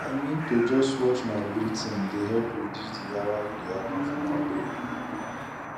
i mean to just watch my breathing dey help reduce the yawa wey dey happen for my brain